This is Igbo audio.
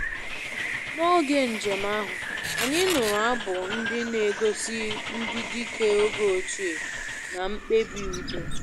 N'oge njem ahụ, anyị nụrụ abụ ndị na-egosi ndị dike oge ochie na mkpebi udo